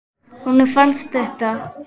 Honum fannst þetta.